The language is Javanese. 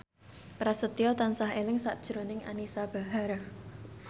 Prasetyo tansah eling sakjroning Anisa Bahar